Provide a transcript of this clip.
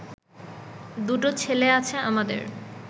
দুটো ছেলে আছে আমাদের